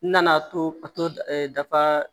N nana to a to dafa